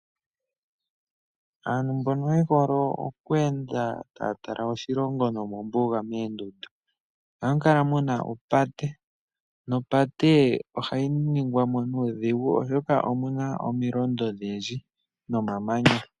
Aantu mbono yehole okweenda taya tala oshilongo nomombuga meendundu. Ohamu kala mu na opate, nopate ohayi ningwa mo nuudhigu, oshoka omu na omilondo odhindji nomamanya.